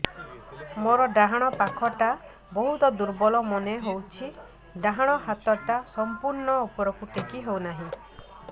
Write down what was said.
ମୋର ଡାହାଣ ପାଖ ବହୁତ ଦୁର୍ବଳ ମନେ ହେଉଛି ଡାହାଣ ହାତଟା ସମ୍ପୂର୍ଣ ଉପରକୁ ଟେକି ହେଉନାହିଁ